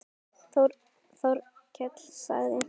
Þórkell sagði